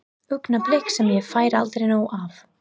Augnablik sem ég fæ aldrei nóg af.